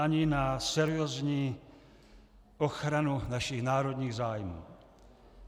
Ani na seriózní ochranu našich národních zájmů.